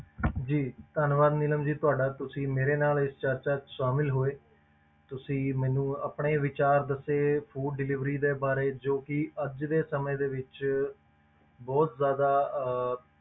ਜੀ ਧੰਨਵਾਦ ਨੀਲਮ ਜੀ ਤੁਹਾਡਾ ਤੁਸੀਂ ਮੇਰੇ ਨਾਲ ਇਸ ਚਰਚਾ ਵਿੱਚ ਸ਼ਾਮਲ ਹੋਏ, ਤੁਸੀਂ ਮੈਨੂੰ ਆਪਣੇ ਵਿਚਾਰ ਦੱਸੇ food delivery ਦੇ ਬਾਰੇ ਜੋ ਕਿ ਅੱਜ ਦੇ ਸਮੇਂ ਦੇ ਵਿੱਚ ਬਹੁਤ ਜ਼ਿਆਦਾ ਅਹ